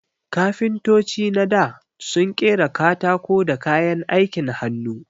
Kafintoci na dā sun ƙera katako da kayan aikin hannu.